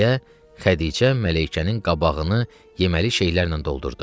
deyə Xədicə Mələykənin qabağını yeməli şeylərlə doldurdu.